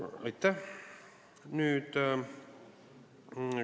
Aitäh!